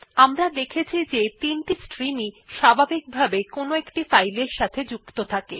আমরা দেখেছি যে ৩ টি স্ট্রিমই স্বাভাবিকভাবে কোনো ফাইল এর সাথে সংযুক্ত থাকে